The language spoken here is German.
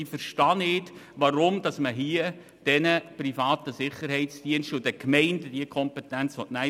Ich verstehe nicht, weshalb man den privaten Sicherheitsdiensten und den Gemeinden diese Kompetenz nehmen will.